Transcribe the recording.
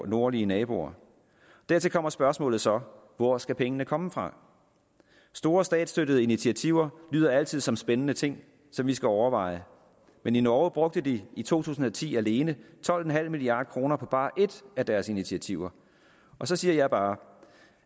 nordlige naboer dertil kommer spørgsmålet så hvor skal pengene komme fra store statsstøttede initiativer lyder altid som spændende ting som vi skal overveje men i norge brugte de i to tusind og ti alene tolv milliard kroner på bare et af deres initiativer så siger jeg bare